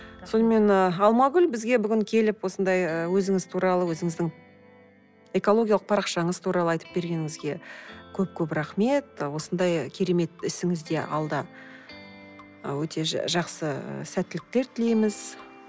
сонымен ы алмагүл бізге бүгін келіп осындай ы өзіңіз туралы өзіңіздің экологиялық парақшаңыз туралы айтып бергеніңізге көп көп рахмет осындай керемет ісіңізде алда і өте жақсы сәттіліктер тілейміз